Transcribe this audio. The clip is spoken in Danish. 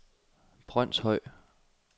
Brønshøj